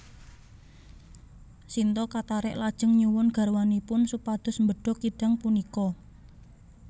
Sinta katarik lajeng nyuwun garwanipun supados mbedhog kidang punika